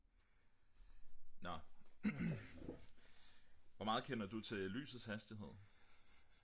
nå hvor meget kender du til lysets hastighed?